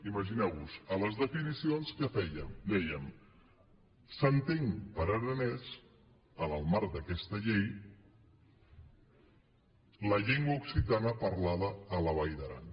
imagineu vos ho a les definicions què fèiem dèiem s’entén per aranès en el marc d’aquesta llei la llengua occitana parlada a la vall d’aran